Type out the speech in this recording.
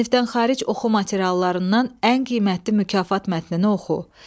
Sinifdən xaric oxu materiallarından ən qiymətli mükafat mətnini oxu.